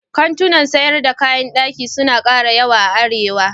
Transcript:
Kantunan sayar da kayan ɗaki suna ƙara yawa a Arewa.